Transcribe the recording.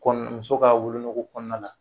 kɔni muso ka wolonogo kɔnɔna la.